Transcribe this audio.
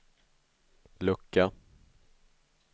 lucka